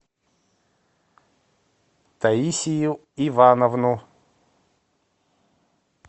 таисию ивановну